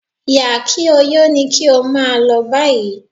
Yà-kí-ó-yó ni kí ó máa lọ báyìí